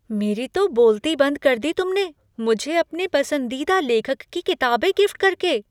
मेरी तो बोलती बंद कर दी तुमने मुझे अपने पसंदीदा लेखक की किताबें गिफ्ट करके!